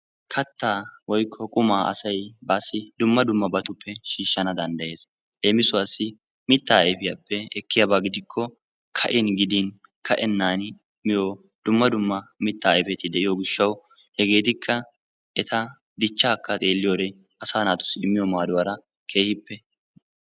Kattaa woyikko qumaa asay baassi dumma dummabatuppe shiishshana dandayes. Leemisuwaassi mittaa ayifiyaappe ekkiyaaba gidikko ka"in gidin ka"enaani miyo dumma dumma mittaa ayifeti de'iyo gishshawu hegeetikka eta dichchaakka xeelliyo wode asaa naatussi immiyo maaduwaara keehippe...